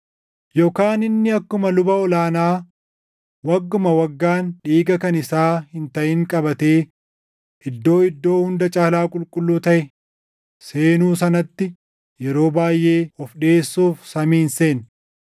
Yookaan inni akkuma luba ol aanaa wagguma waggaan dhiiga kan isaa hin taʼin qabatee Iddoo Iddoo Hunda Caalaa Qulqulluu taʼe seenu sanaatti yeroo baayʼee of dhiʼeessuuf samii hin seenne.